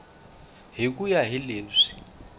hi ku ya hi leswi